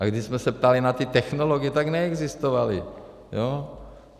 A když jsme se ptali na ty technologie, tak neexistovaly, jo?